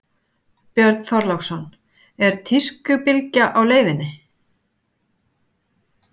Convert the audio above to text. Björn Þorláksson: Er tískubylgja á leiðinni?